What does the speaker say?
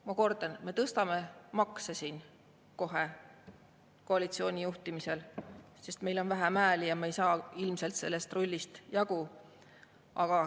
Ma kordan, me tõstame siin kohe koalitsiooni juhtimisel makse, sest meil on vähem hääli ja me ei saa ilmselt sellest rullist jagu.